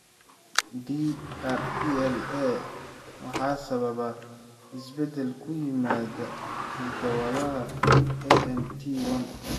DRPLA waxaa sababa isbeddel ku yimaadda hidda-wadaha ATN1.